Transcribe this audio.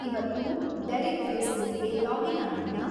ಇವತ್ತು ಡೆರಿಕ್‌ ಫೇಸ್ಬುಕ್‌ಗೆ ಲಾಗಿನ್‌ ಆಗಿದ್ನಾ